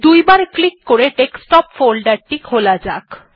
দুইবার ক্লিক করে desktop folder টি খোলা যাক